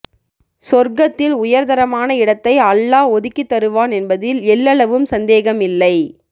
சொர்க்கத்தில் வுயர்தரமான இடத்தை அல்லாஹ் ஒதுக்கித்தருவான் என்பதில் எள்ளளவும் சந்தேகம் இல்லை